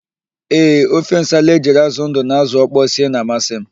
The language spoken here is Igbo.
Ee, ofe nsala ejiri ázụ̀ ndụ na ázụ̀ ọkpọọ sie na-amasị m.